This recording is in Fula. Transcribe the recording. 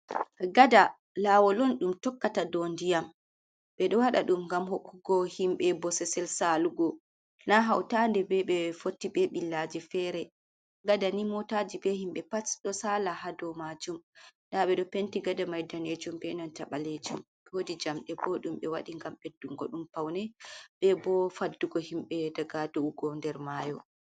Gada, laawol on ɗum tokkata dow ndiyam. Ɓe ɗo waɗa ɗum ngam hokkugo himɓe bosesel saalugo na hautannde be ɓe fotti be ɓillaji fere. Gada ni motaaji be himbe pat ɗo saala ha dow majum. Nda ɓe ɗo penti gada mai daneejum be nanta ɓaleejum. Wodi jamɗe bo ɗum ɓe waɗi ngam ɓeddungo ɗum paune be bo faddugo himɓe daga do’ugo nder maayo.